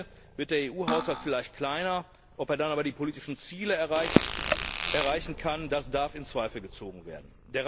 Denn am Ende wird der EU Haushalt vielleicht kleiner, ob er dann aber die politischen Ziele erreichen kann, darf in Zweifel gezogen werden.